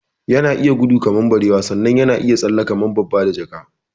Yan iya gudu kamar barewa sannan yana iya tsalle kamar babba da jaka